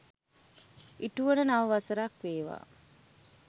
ඉටුවන නව වසරක් වේවා.